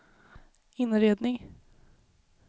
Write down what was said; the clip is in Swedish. inredning